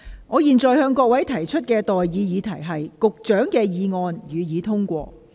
我現在向各位提出的待議議題是：環境局局長動議的議案，予以通過。